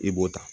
I b'o ta